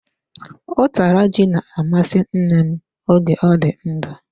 Utara ji na-amasị nne m oge ọ dị ndụ.